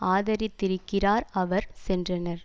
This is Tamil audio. ஆதரித்திருக்கிறார் அவர் சென்றனர்